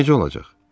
Necə olacaq?